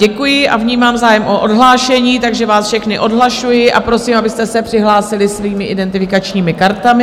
Děkuji a vnímám zájem o odhlášení, takže vás všechny odhlašuji a prosím, abyste se přihlásili svými identifikačními kartami.